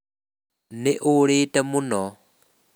Nĩ ũrĩte mũno.